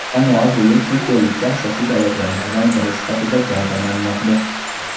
Jamoa bu yil chempionlikka asosiy da’vogarlardan biri sifatida gavdalanmoqda.